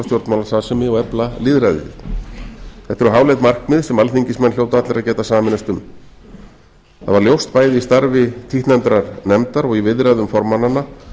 stjórnmálastarfsemi og efla lýðræðið þetta eru háleit markmið sem alþingismenn hljóta allir að geta sameinast um það var ljóst bæði í starfi títtnefndrar nefndar og í viðræðum formannanna